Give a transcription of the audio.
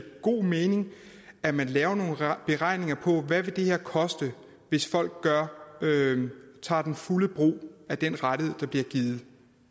god mening at man laver nogle beregninger på hvad det her vil koste hvis folk tager den fulde brug af den rettighed der bliver givet